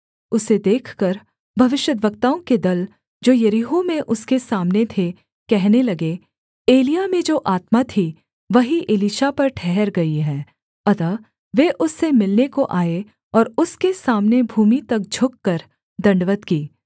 उसे देखकर भविष्यद्वक्ताओं के दल जो यरीहो में उसके सामने थे कहने लगे एलिय्याह में जो आत्मा थी वही एलीशा पर ठहर गई है अतः वे उससे मिलने को आए और उसके सामने भूमि तक झुककर दण्डवत् की